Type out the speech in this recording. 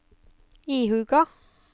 ihuga